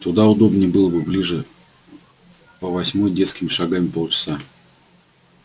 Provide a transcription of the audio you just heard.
туда удобнее было бы ближе по восьмой детскими шагами полчаса